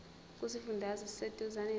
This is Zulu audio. kusifundazwe oseduzane nawe